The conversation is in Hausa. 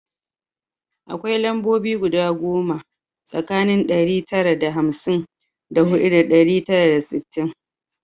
Akwai lambobi guda goma tsakanin ɗari tara da hamsin da huɗu da ɗari tara da sittin